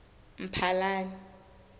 mphalane